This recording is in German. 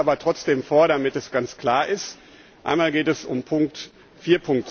Ich lese es aber trotzdem vor, damit es ganz klar ist. Einmal geht es um Nummer